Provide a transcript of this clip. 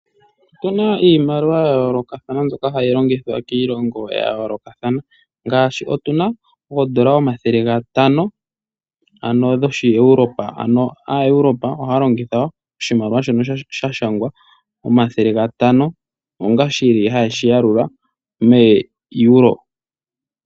Opuna iimaliwa yayoolokathana mbyoka hayi longithwa kiilongo yayoolokathana ngaashi otuna oodola omathele gatano, dhoshi Europa ano aaEuropa ohaya longitha oshimaliwa shoka shashangwa 500 onga shili hayeshi yalula mEuro.